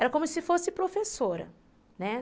Era como se fosse professora, né?